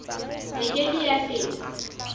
e ke ke ya feta